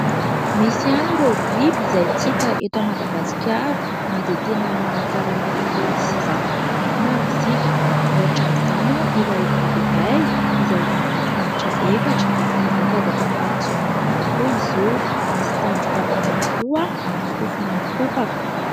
Misy ihany ireo biby izay tsy hita eto Madagasikara na dia tena manankarena biby sy zavamananaina ary isika, ohatra amin'izany ilay biby iray izay manana tongotra efatra, mihazakazaka mafy dia mafy tokoa izy io, misy tandroka anankiroa ary sofina mikopaka.